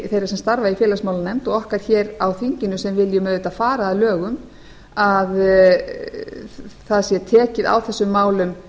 sem starfa í félagsmálanefnd og okkar hér á þinginu sem viljum auðvitað fara að lögum að það sé tekið á þessum málum